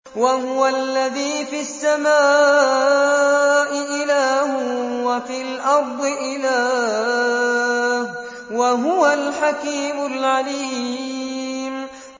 وَهُوَ الَّذِي فِي السَّمَاءِ إِلَٰهٌ وَفِي الْأَرْضِ إِلَٰهٌ ۚ وَهُوَ الْحَكِيمُ الْعَلِيمُ